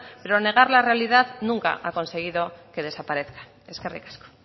pero negar la realidad nunca ha conseguido que desaparezca eskerrik asko